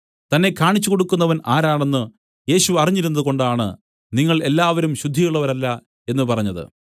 തന്നെ കാണിച്ചുകൊടുക്കുന്നവൻ ആരാണെന്ന് യേശു അറിഞ്ഞിരുന്നതുകൊണ്ടാണ് നിങ്ങൾ എല്ലാവരും ശുദ്ധിയുള്ളവരല്ല എന്നു പറഞ്ഞത്